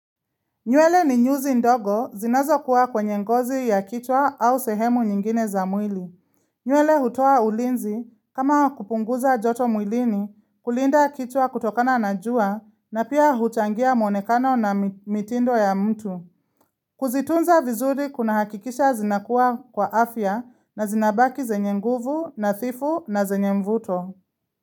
Nywele ni nyuzi ndogo zinazo kuwa kwenye ngozi ya kichwa au sehemu nyingine za mwili. Nywele hutoa ulinzi kama wakupunguza joto mwilini kulinda kichwa kutokana na jua na pia huchangia mwonekano na mitindo ya mtu. Kuzitunza vizuri kuna hakikisha zinakuwa kwa afya na zinabaki zenye nguvu na thifu na zenye mvuto.